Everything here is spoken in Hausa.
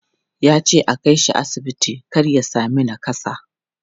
Ya ce a kai shi asibiti kar ya sami nakassa.